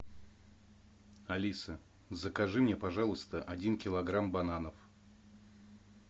алиса закажи мне пожалуйста один килограмм бананов